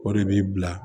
O de bi bila